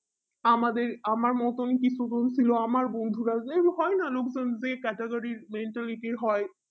আমাদের আমার মতোন কিছু জন ছিল আমার বন্দুরা যেরকম হয় না লোক জন যে category র mentality র হয়